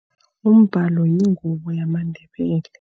Umbhalo yingubo yamaNdebele.